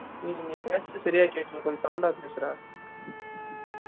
டெய் னீ பேசுரது செரியா கேகல கொஞ்சம் sound ஆ பேசு டா